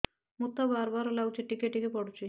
ମୁତ ବାର୍ ବାର୍ ଲାଗୁଚି ଟିକେ ଟିକେ ପୁଡୁଚି